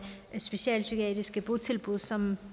socialpsykiatriske botilbud som